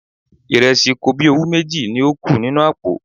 Ìrẹsì kobíowú méjì ni ó kù nínú àpò.